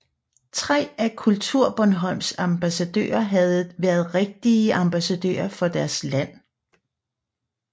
Tre af KulturBornholms ambassadører havde været rigtige ambassadører for deres land